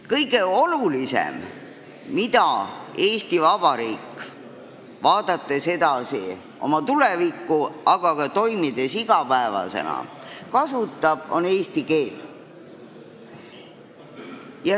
Kõige olulisem asi, mida Eesti Vabariik kasutab, on eesti keel, seda nii oma tuleviku poole vaadates kui ka iga päev toimides.